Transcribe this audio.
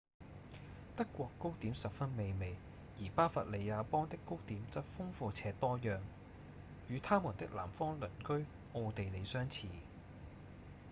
德國糕點十分美味而巴伐利亞邦的糕點則豐富且多樣與他們的南方鄰居奧地利相似